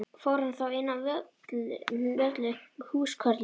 Fór hann þá inn á Völlu með húskörlum.